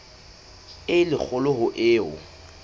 e le kgolo ho eo